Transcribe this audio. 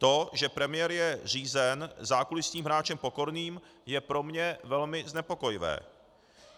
To, že premiér je řízen zákulisním hráčem Pokorným, je pro mě velmi znepokojivé.